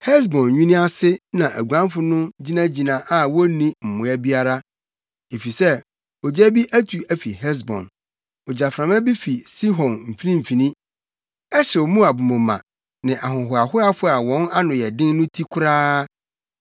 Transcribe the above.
“Hesbon nwini ase na aguanfo no gyinagyina a wonni mmoa biara, efisɛ ogya bi atu afi Hesbon; ogyaframa bi fi Sihon mfimfini; ɛhyew Moab moma, ne ahohoahoafo a wɔn ano yɛ den no ti koraa.